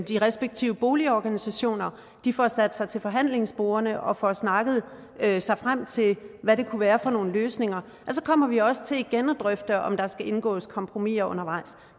de respektive boligorganisationer får sat sig til forhandlingsbordet og får snakket sig frem til hvad det kunne være for nogle løsninger så kommer vi også til igen at drøfte om der skal indgås kompromiser undervejs